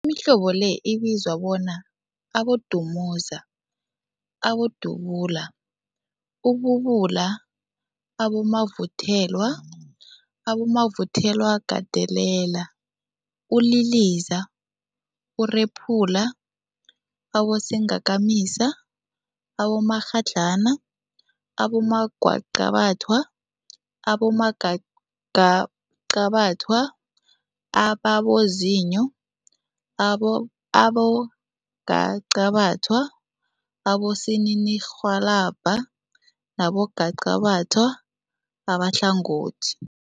mihlobo le ibizwa bona, Abodumuza, Abodubula, ububula, abomavuthelwa, abomavuthelwagandelela, uliliza, urephula, abosingakamisa, abomakghadlana, abongwaqabathwa, abongwaqabathwa ababozinyo, abo abongwaqabathwa abosininirhwalabha nabongwaqabatha abahlangothi.